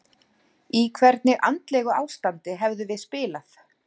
Í hvernig andlegu ástandi hefðum við spilað?